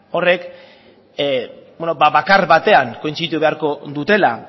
horrek bakar batean kointziditu beharko dutela